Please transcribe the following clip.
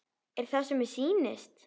Er það sem mér sýnist?